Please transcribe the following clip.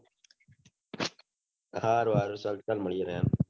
હારું હારું ચાલ ચાલ મળીયે